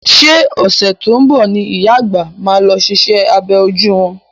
Ṣé ọ̀sẹ̀ tó ń bọ̀ ni ìyá àgbà máa lọ ṣiṣẹ́ abẹ ojú wọn.